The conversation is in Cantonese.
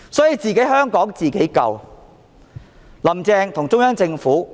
"所以，香港要自己救，"林鄭"與中央政府